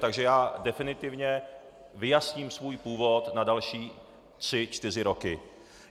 Takže já definitivně vyjasním svůj původ na další tři čtyři roky.